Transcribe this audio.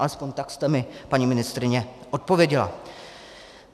Alespoň tak jste mi, paní ministryně, odpověděla.